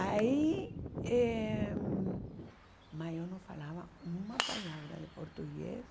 Aí... eh maior não falava uma palavra de português.